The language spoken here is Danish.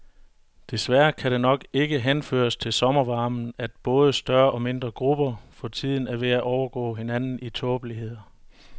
Desværre kan det nok ikke henføres til sommervarmen, at både større og mindre grupper for tiden er ved at overgå hinanden i tåbeligheder.